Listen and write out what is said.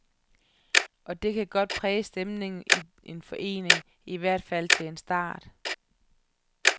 Og det kan godt præge stemningen i en forening, i hvert fald til en start.